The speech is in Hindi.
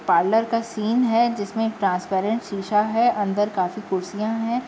पार्लर का सीन है जिसमें ट्रांसपेरेंट शीशा है अंदर काफी कुर्सियां हैं।